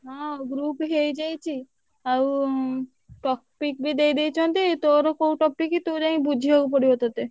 ହଁ group ହେଇଯାଇଛି। ଆଉ topic ବି ଦେଇଦେଇଛନ୍ତି। ତୋର କୋଉ topic ତୁ ଯାଇ ବୁଝିଆକୁ ପଡିବ ତତେ।